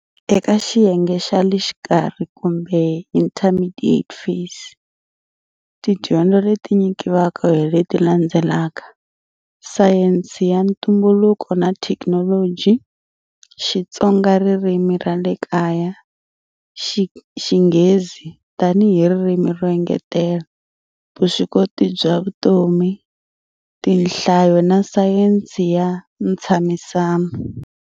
Eka xiyenge xa le xikarhi kumbe"intermidiate phase", tidyondzo leti nyikiwaka hileti landzelaka, sayense ya ntumbuluko na thekinoloji, xitsonga ririmi ra le kaya, xinghezi tanihi hi ririmi ro engetela, vuswikoti bya vutomi, tinhlayo na sayense ya ntshamisano.